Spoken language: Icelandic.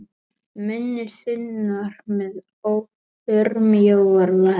Munnur þunnur með örmjóar varir.